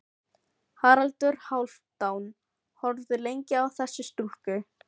Haraldur Hálfdán horfði lengi á þessa stúlku.